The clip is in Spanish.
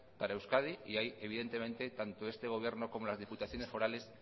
para euskadi y ahí evidentemente tanto este gobierno como las diputaciones forales